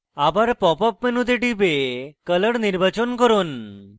আবার pop up মেনুতে টিপে color নির্বাচন করুন